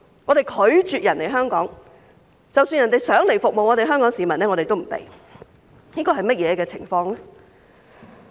我們拒絕人家來香港，即使有人想來服務香港市民，我們也不准許。